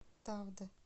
тавда